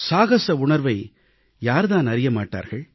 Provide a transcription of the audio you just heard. சாகச உணர்வை யார்தான் அறிய மாட்டார்கள்